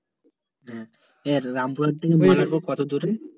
এ রামপুরা থেকে মল্লারপুর কত দূরে রে?